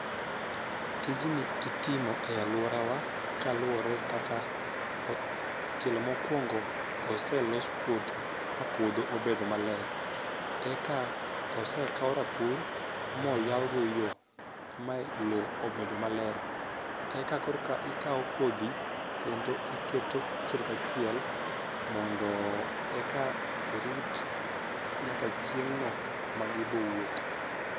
Tijni itimo e aluorawa kaluwore kaka tielo mokuongo oselos puodho ma puodho obedo maler eka osekawo rapur moyaw go yo ma lo obedo maler eka kor ka ikawo kodhi kendo iketo achile kachiel mondo eka irit nyaka chieng' no magi bowuok